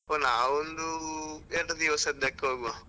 ಓ ನಾವ್ ಒಂದು ಎರಡು ದಿವಸದಕ್ ಹೋಗುವ.